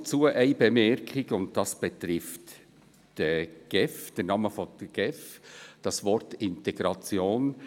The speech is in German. Eine Bemerkung habe ich dazu, und diese betrifft den Namen der GEF und das Wort Integration.